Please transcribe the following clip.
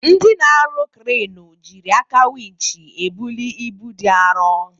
Ndị na-arụ kranụ jiri aka winch ebuli ibu dị arọ.